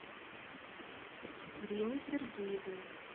римме сергеевне